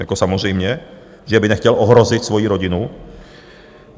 Jako samozřejmě, že by nechtěl ohrozit svoji rodinu.